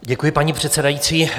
Děkuji, paní předsedající.